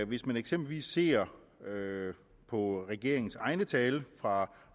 hvis man eksempelvis ser på regeringens egne tal fra